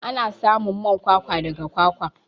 Ana samun man kwakwa daga kwakwa.